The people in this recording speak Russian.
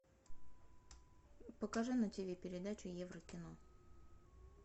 покажи на тв передачу еврокино